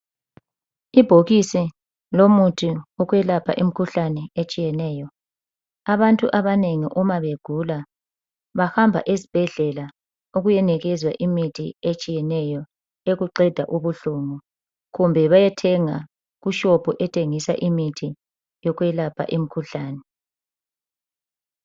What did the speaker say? Ibhokisi lomuthi okwelapha imkhuhlane etshiyeneyo abantu abanengi uma begula bahamba esibhedlela ukuyonikezwa imithi etshiyeneyo ukuqeda ubuhlungu kumbe bayethenga kushopu ethengisa imithi yokwelapha imkhuhlane.